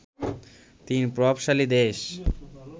তিন প্রভাবশালী দেশ